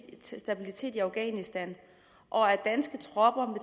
stabilitet i afghanistan og at danske tropper